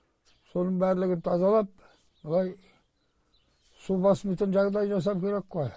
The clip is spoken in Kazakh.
соның барлығын тазалап былай су баспайтын жағыдай жасау керек қой